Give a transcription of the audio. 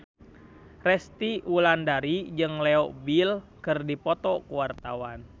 Resty Wulandari jeung Leo Bill keur dipoto ku wartawan